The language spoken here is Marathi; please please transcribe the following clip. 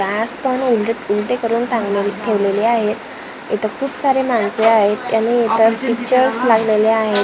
उलटे करून टांगून ठेवलेली आहेत इथे खूपसारे माणसे आहेत त्यांनी पिक्चरर्स लावलेले आहेत दिवाली --